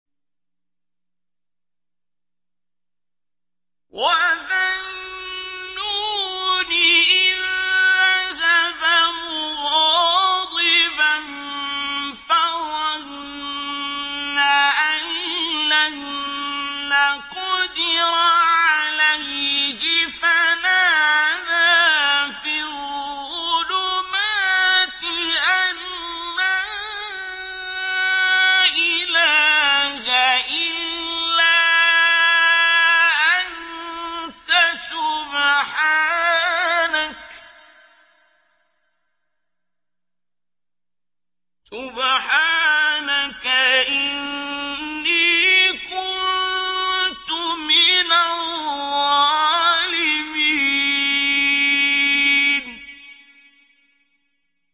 وَذَا النُّونِ إِذ ذَّهَبَ مُغَاضِبًا فَظَنَّ أَن لَّن نَّقْدِرَ عَلَيْهِ فَنَادَىٰ فِي الظُّلُمَاتِ أَن لَّا إِلَٰهَ إِلَّا أَنتَ سُبْحَانَكَ إِنِّي كُنتُ مِنَ الظَّالِمِينَ